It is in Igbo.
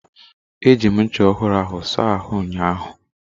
Eji m ncha ọhụrụ ahụ saa ahụ ụnyaahụ.